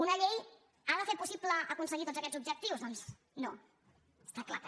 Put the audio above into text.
una llei ha de fer possible aconseguir tots aquests ob·jectius doncs no està clar que no